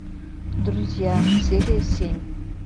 друзья серия семь